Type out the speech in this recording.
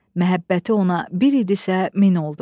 Məhəbbəti ona bir idisə, min oldu.